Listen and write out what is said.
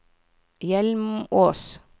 Hjelmås